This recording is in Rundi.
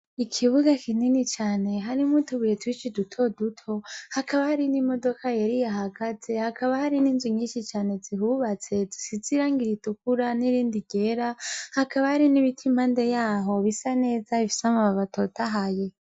Ikibuga kinini cane harimwo utubuye twishi dutoduto, hakaba hari n'imodoka yera ihahagaze, hakaba hari n'inzu nyishi cane zihubatse zisize irangi ritukura n'irindi ryera, hakaba hari n'ibiti impande yaho bisa neza bifise amababi atotahaye.